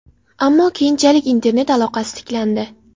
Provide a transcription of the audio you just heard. Ammo keyinchalik internet aloqasi tiklandi.